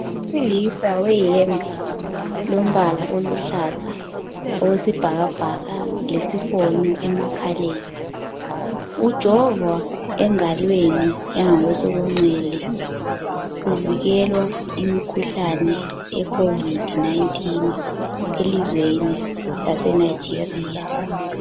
Owesilisa uleyembe elombala oluhlaza okwesibhakabhaka lesifono emakhaleni ujovha engalweni elonxele uvokelwa kumkhuhlane yecovid 19 elizweni lase Nigeria